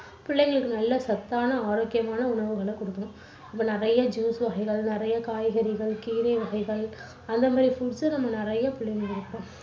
பிள்ளைங்களுக்கு நல்ல சத்தான ஆரோக்கியமான உணவுகளை குடுக்கணும். நிறைய juice வகைகள், நிறைய காய்கறிகள், கீரை வகைகள் அந்த மாதிரி foods அ நம்ம நிறைய குடுக்கணும்.